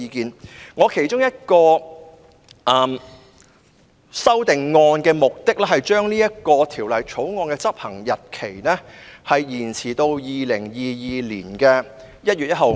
我提出的其中一項修訂的目的，是將《條例草案》的生效日期延遲至2022年1月1日。